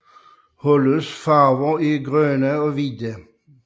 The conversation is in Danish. Holdets farver er grønne og hvide